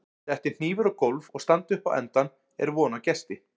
detti hnífur á gólf og standi upp á endann er von á gesti